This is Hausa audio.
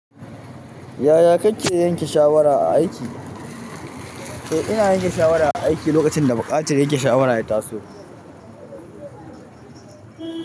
Yaya kake yanke shawara a aiki. To ina yanke shawara a aiki lokacin da buƙatar yanke shawara ya taso.